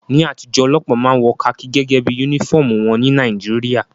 Ní àtijọ́, ọlọ́pàá máa ń wọ kakí gẹ́gẹ́ bí yúnífọ̀mù wọn ní Nàìjíríà